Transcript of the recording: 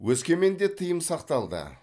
өскеменде тыйым сақталды